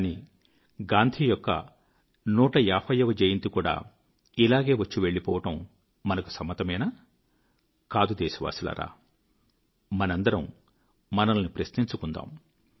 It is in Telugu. కానీ గాంధీ యొక్క 150 వ జయంతి కూడా ఇలాగే వచ్చి వెళ్ళిపోవడం మనకు సమ్మతమేనా కాదు దేశవాసులారా మనమందరం మనలను ప్రశ్నించుకుందాం